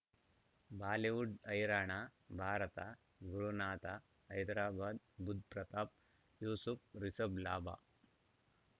Bollywood ಹೈರಾಣ ಭಾರತ ಗುರುನಾಥ ಹೈದರಾಬಾದ್ ಬುಧ್ ಪ್ರತಾಪ್ ಯೂಸುಫ್ ರಿಷಬ್ ಲಾಭ